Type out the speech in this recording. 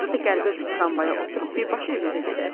Orda da qəribə bir tramvaya oturub birbaşa evimizə gedərik.